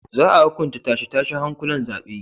Za a hukunta tashe-tashen hankulan zaben.